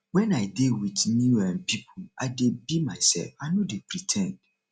wen i dey wit new um pipo i dey be mysef i no dey pre ten d